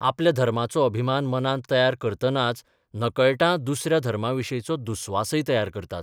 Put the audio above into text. आपल्या धर्माचो अभिमान मनांत तयार करतनाच नकळटां दुसऱ्या धर्माविशींचो दुस्वासय तयार करतात.